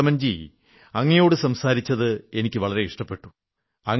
രിപുദമൻജീ അങ്ങയോടു സംസാരിച്ചത് എനിക്കു വളരെ ഇഷ്ടപ്പെട്ടു